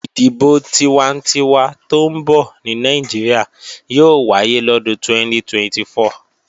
Ìdìbò tiwantinwa tó ń bọ̀ ní Nàìjíríà yóò wáyé lọ́dún 2024